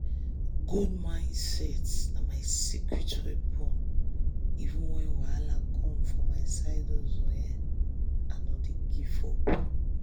good mindset na my secret weapon even when wahala come for my side hustle i no dey give up.